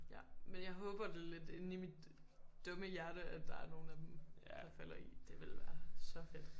Ja men jeg håber det lidt inde i mit dumme hjerte at der er nogen af der falder i det ville være så fedt